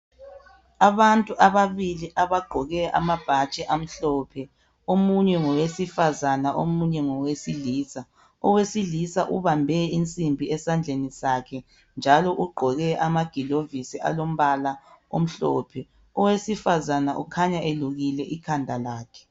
Abantu ababili abagqoke amabhatshi amhlophe omunye ngowesifazane omunye ngowesilisa , owesilisa ubambe insimbi esandleni kakhe njalo ugqoke amagilovisi alombala omhlophe owesifazana ukhanya elukile ikhanda lakhe.